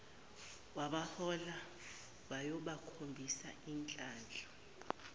wabahola wayobakhombisa isihlahla